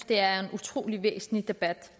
det er en utrolig væsentlig debat